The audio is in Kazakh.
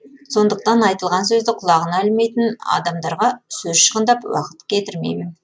сондықтан айтылған сөзді құлағына ілмейтін адамдарға сөз шығындап уақыт кетірмеймін